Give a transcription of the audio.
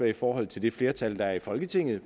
i forhold til det flertal der er i folketinget